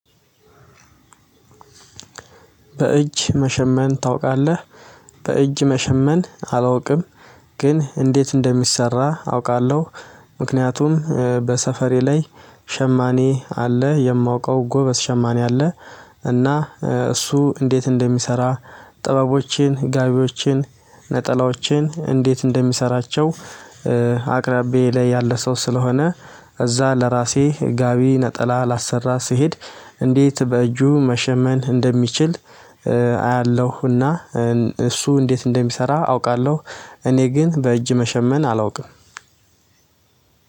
በእጅ መሻመን ታውቃለህ? በእጅ መሻመን አላውቅም። ግን እንዴት እንደሚሰራ አውቃለሁ ምክንያቱም በሰፈሬ ላይ ሻማኔ አለ የማውቀው ጎበዝ ሻማኔ አለ እና እሱ እንዴት እንደሚሰራ፣ ጥበቦችን፣ ጋቢዎችን፣ ነጠላዎችን እንዴት እንደሚሰራቸው አቅራቢያዬ ያለ ሰው ስለሆነ እዛ ለራሴ ጋቢ ነጠላ ላሰራ ስሄድ እንዴት በእጁ መሻመን እንደሚችል አያለሁና እሱ እንዴት እንደሚሰራ አውቃለሁ፤ እኔ ግን በእጅ መሻመን አላውቅም።